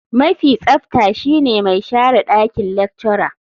Mafi tsafta shine mai share dakin lecturer.